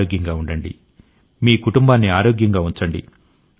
ఆరోగ్యంగా ఉండండి మీ కుటుంబాన్ని ఆరోగ్యంగా ఉంచండి